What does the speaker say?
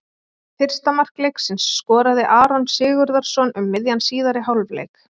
Fyrsta mark leiksins skoraði Aron Sigurðarson um miðjan síðari hálfleik.